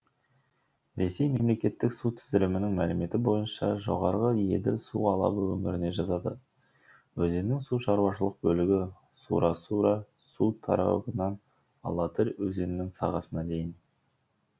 ресей мемлекеттік су тізілімінің мәліметі бойынша жоғарғы еділ су алабы өңіріне жатады өзеннің су шаруашылық бөлігі сура сура су торабынан алатырь өзенінің сағасына дейін